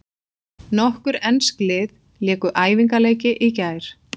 Nokkur ensk lið léku æfingaleiki í gær.